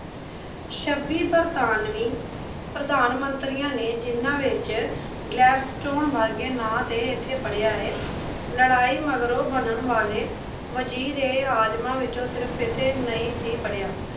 ਛੱਬੀ ਬਰਤਾਨਵੀ ਪ੍ਰਧਾਨ ਮੰਤਰੀਆੰ ਨੇ ਜਿਹਨਾਂ ਵਿੱਚ ਗਲੈਡਸਟੋਨ ਵਰਗੇ ਨਾਂ ਅਤੇ ਇੱਥੇ ਪੜ੍ਹਿਆ ਏ। ਲੜਾਈ ਮਗਰੋਂ ਬਣਨ ਵਾਲੇ ਵਜ਼ੀਰ-ਏ-ਆਜ਼ਮਾਂ ਵਿਚੋਂ ਸਿਰਫ਼ ਇੱਥੇ ਨਹੀਂ ਸੀ ਪੜ੍ਹਿਆ।